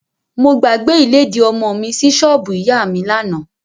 Mo gbàgbé ìlédìí ọmọ mi sí ṣọ́ọ̀bù ìyá mi lánàá.